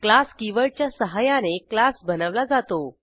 class कीवर्डच्या सहाय्याने class बनवला जातो